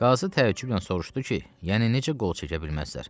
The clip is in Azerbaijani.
Qazı təəccüblə soruşdu ki, yəni necə qol çəkə bilməzlər?